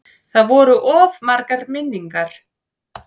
Það voru of margar minningar.